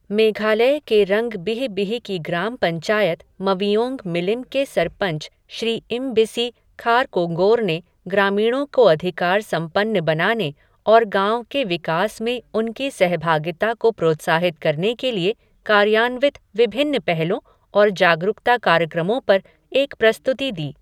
मेघालय के रंगबिहबिह की ग्राम पंचायत मविओंग मिलीम के सरपंच श्री इमबिसी खारकोंगोर ने ग्रामीणों को अधिकार संपन्न बनाने और गांव के विकास में उनकी सहभागिता को प्रोत्साहित करने के लिए कार्यान्वित विभिन्न पहलों और जागरुकता कार्यक्रमों पर एक प्रस्तुति दी।